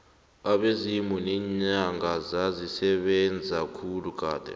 abezimu neenyanga zazisebenza khulu kade